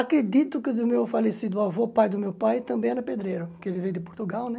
Acredito que o meu falecido avô, pai do meu pai, também era pedreiro, porque ele veio de Portugal, né?